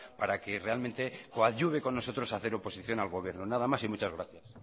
para que realmente coadyuve con nosotros a hacer oposición al gobierno nada más y muchas gracias